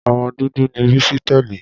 Ọmọ dúdú ni Bísí tẹ́lẹ̀.